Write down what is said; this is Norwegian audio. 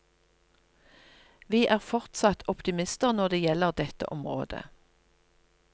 Vi er fortsatt optimister når det gjelder dette området.